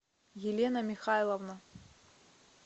елена михайловна